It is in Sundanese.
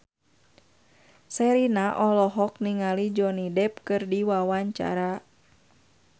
Sherina olohok ningali Johnny Depp keur diwawancara